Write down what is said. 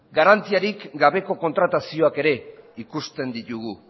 garantiarik gabeko kontratazioak ere ikusten ditugu